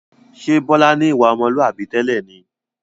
Ṣé Bọlá ni ìwà ọmọlúwàbí tẹ́lẹ̀ ni?